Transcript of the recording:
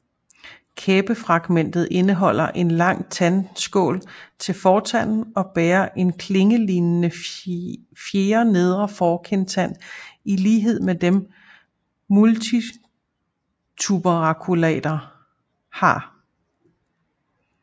Kæbefragmentet indeholder en lang tandskål til fortanden og bærer en klingelignende fjerde nedre forkindtand i lighed med dem multituberculater har